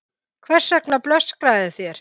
Hvers vegna blöskraði þér?